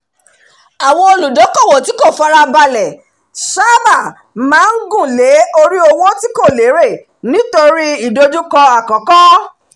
àwọn olùdókòwò tí kò farabalẹ̀ sáábà máa ń gùn lé orí owó tí kò lérè lórí nítorí ìdojúkọ àkókò